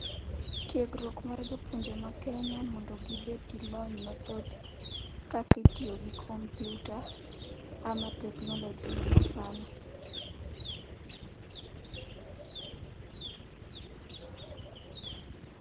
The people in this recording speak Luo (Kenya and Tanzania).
Tiekruok mar jopuonje ma kenya mondo gibedgi lony mathoth kaka itiyogi computer ama technologyl ma sani.